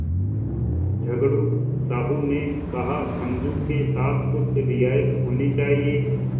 झगड़ू साहु ने कहासमझू के साथ कुछ रियायत होनी चाहिए